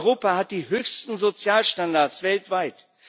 Europa hat die höchsten Sozialstandards weltweit.